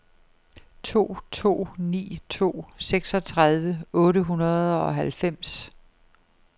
to to ni to seksogtredive otte hundrede og halvfems